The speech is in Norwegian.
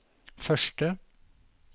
første